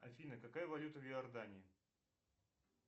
афина какая валюта в иордании